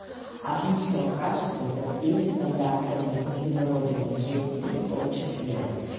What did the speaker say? отличного качества со всеми стандартами международными джимпи в том числе